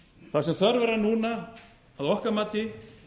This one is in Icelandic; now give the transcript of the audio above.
það sem þörf er á núna að okkar mati